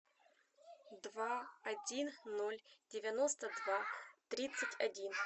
два один ноль девяносто два тридцать один